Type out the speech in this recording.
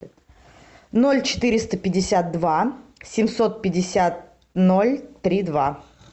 ноль четыреста пятьдесят два семьсот пятьдесят ноль три два